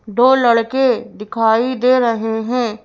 दो लड़के दिखाई दे रहे हैं।